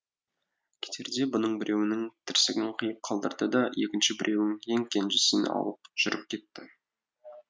кетерде бұның біреуінің тірсегін қиып қалдырды да екінші біреуін ең кенжесін алып жүріп кетті